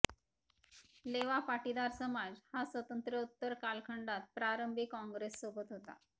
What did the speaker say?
लेवा पाटीदार समाज हा स्वातंत्र्योत्तर कालखंडात प्रारंभी काँग्रेससोबत होता